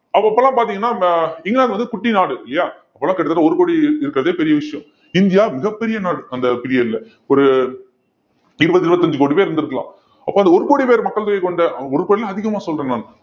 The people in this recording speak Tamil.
அப்பப்பலாம் பார்த்தீங்கன்னா அஹ் இங்கிலாந்து வந்து குட்டி நாடு இல்லையா அப்போலாம் கிட்டத்தட்ட ஒரு கோடி இருக்கிறதே பெரிய விஷயம் இந்தியா மிகப்பெரிய நாடு அந்த period ல ஒரு இருபது இருபத்தஞ்சு கோடி பேர் இருந்திருக்கலாம் அப்ப அந்த ஒரு கோடி பேர் மக்கள் தொகை கொண்ட ஒரு கோடியிலும் அதிகமா சொல்றேன் நானு